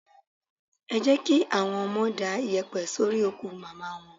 Ẹ jẹ́ kí àwọn ọmọ da yèpẹ̀ sórí òkú Màmá wọn.